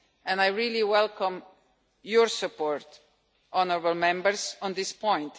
And I really welcome your support, honourable Members, on this point.